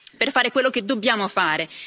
per fare quello che dobbiamo fare.